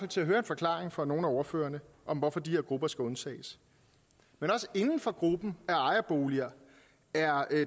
til at høre en forklaring fra nogle af ordførerne om hvorfor de her grupper skal undtages men også inden for gruppen af boligejere er